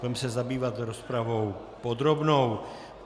Budeme se zabývat rozpravou podrobnou.